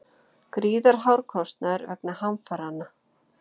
Gríðarhár kostnaður vegna hamfaranna